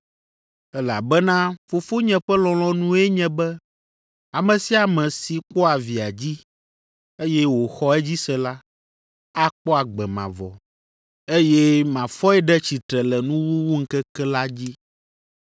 Elabena Fofonye ƒe lɔlɔ̃nue nye be ame sia ame si kpɔa Via dzi, eye wòxɔ edzi se la, akpɔ agbe mavɔ, eye mafɔe ɖe tsitre le nuwuwuŋkeke la dzi.”